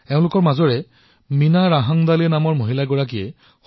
তেওঁলোকে সিদ্ধান্ত গ্ৰহণ কৰিলে যে তেওঁলোকে ঐক্যৱদ্ধভাৱে ধানৰ মিলৰ কাম আৰম্ভ কৰিব